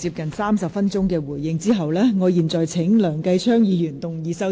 局長發言接近30分鐘作出回應後，我現在請梁繼昌議員動議修正案。